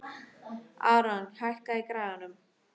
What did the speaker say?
Aaron, hækkaðu í græjunum.